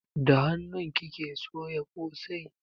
Da hanun kike soya kosai?